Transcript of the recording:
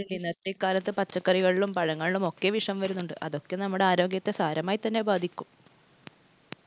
ഇന്നത്തെ കാലത്ത് പച്ചക്കറികളിലും, പഴങ്ങളിലുമൊക്കെ വിഷം വരുന്നുണ്ട്. അതൊക്കെ നമ്മടെ ആരോഗ്യത്തെ സാരമായിതന്നെ ബാധിക്കും.